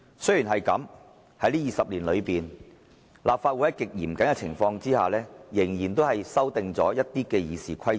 "雖然這樣，在這20年裏，立法會在極嚴謹的情況下，仍然數度修訂了《議事規則》。